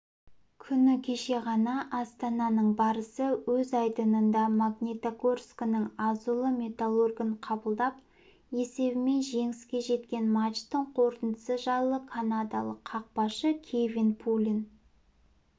күні кеше ғана астананың барысы өз айдынында магнитогорскінің азулы металлургін қабылдап есебімен жеңіске жеткен матчтың қорытындысы жайлы канадалық қақпашы кевин пулен